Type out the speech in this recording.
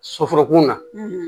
Soforokun na